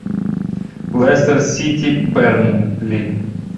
лестер сити бернли